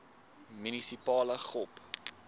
munisipale gop